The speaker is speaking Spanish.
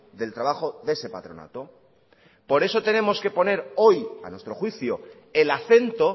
del trabajo de ese patronato por eso tenemos que poner hoy a nuestro juicio el acento